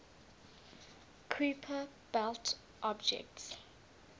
kuiper belt objects